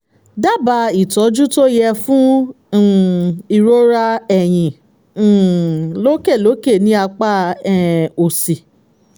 dábàá ìtọ́jú tó yẹ fún um ìrora ẹ̀yìn um lókè lókè ní apá um òsì